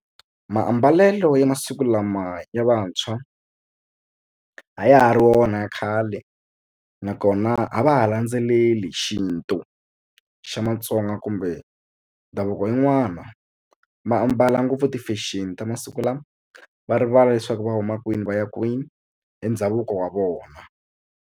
Maambalelo ya masiku lama ya vantshwa a ya ha ri wona ya khale nakona a va ha landzeleli xintu xa Matsonga kumbe ndhavuko yin'wana va ambala ngopfu ti-fashion ta masiku lama va rivala leswaku va huma kwini va ya kwini hi ndhavuko wa vona.